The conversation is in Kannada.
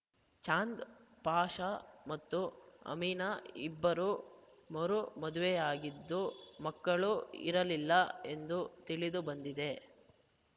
ಚಾಂದ್‌ ಪಾಷ ಮತ್ತು ಅಮಿನ ಇಬ್ಬರು ಮರು ಮದುವೆಯಾಗಿದ್ದು ಮಕ್ಕಳು ಇರಲಿಲ್ಲ ಎಂದು ತಿಳಿದು ಬಂದಿದೆ